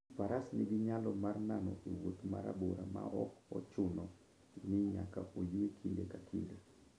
Faras nigi nyalo mar nano e wuoth ma rabora maok ochuno ni nyaka oyue kinde ka kinde.